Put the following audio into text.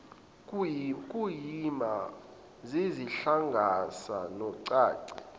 kuyima zizihlanganisa nocansi